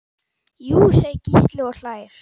Jú segir Gísli og hlær.